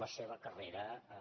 la seva carrera a